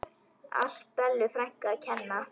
Allt Bellu frænku að kenna.